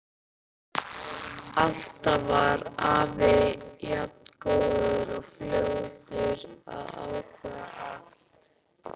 Alltaf var afi jafn góður og fljótur að ákveða allt.